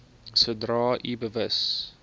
sodra u bewus